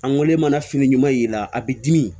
Angɛrɛ mana fini ɲuman y'i la a b'i dimi